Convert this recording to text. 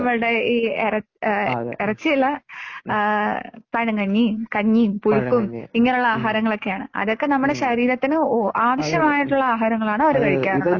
അതേ